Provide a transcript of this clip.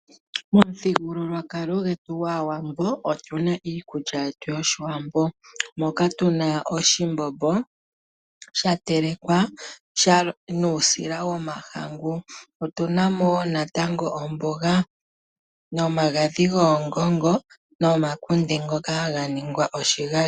Momuthigululwakalo gwetu gwAawambo otunamo iikulya yetu . Moka tuna oshimbombo shatelekwa nuusila womahangu . Otuna mo woo natango omboga , omagadhi goongongo nomakunde ngoka haga ningwa oshigali.